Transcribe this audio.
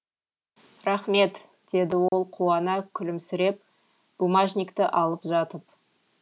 рақмет деді ол қуана күлімсіреп бумажникті алып жатып